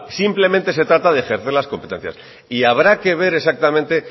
simplemente se trata de ejercer las competencias y habrá que ver exactamente